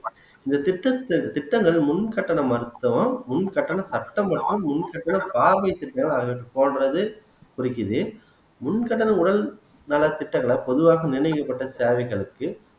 இந்த திட்டத்தில் திட்டங்கள் முன் கட்டணம் மட்டும் முன் கட்டணம் முன் கட்டணம் பார்வை திட்டங்களை போன்றது குறிக்குது முன் கடன் உடல் நலத்திட்டங்களை பொதுவாக நிர்ணயிக்கப்பட்ட தேவைகளுக்கு